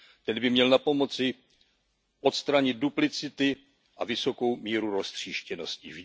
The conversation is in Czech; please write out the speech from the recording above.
Ten by měl napomoci odstranit duplicity a vysokou míru roztříštěnosti.